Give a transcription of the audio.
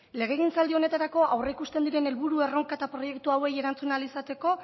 legegintzaldi honetarako aurreikusten diren helburu erronka eta proiektu hauei erantzun ahal izateko